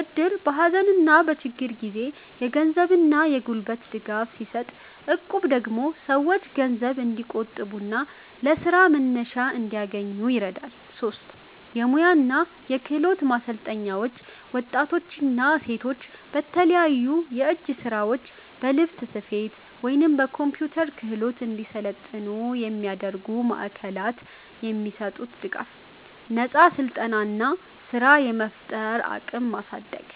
እድር በሀዘንና በችግር ጊዜ የገንዘብና የጉልበት ድጋፍ ሲሰጥ፣ እቁብ ደግሞ ሰዎች ገንዘብ እንዲቆጥቡና ለስራ መነሻ እንዲያገኙ ይረዳል። 3. የሙያ እና የክህሎት ማሰልጠኛዎች ወጣቶችና ሴቶች በተለያዩ የእጅ ስራዎች፣ በልብስ ስፌት ወይም በኮምፒውተር ክህሎት እንዲሰለጥኑ የሚያደርጉ ማዕከላት። የሚሰጡት ድጋፍ፦ ነፃ ስልጠና እና ስራ የመፍጠር አቅምን ማሳደግ።